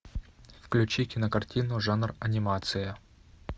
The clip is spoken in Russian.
включи кинокартину жанр анимация